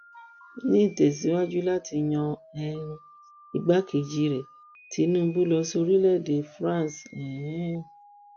ní ìtẹsíwájú láti yan um igbákejì rẹ tinubu lọ sí orílẹèdè france um